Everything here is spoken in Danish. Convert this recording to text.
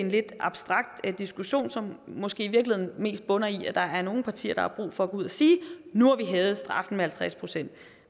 lidt abstrakt diskussion som måske i virkeligheden mest bunder i at der er nogle partier der har brug for at gå ud og sige nu har vi hævet straffen med halvtreds procent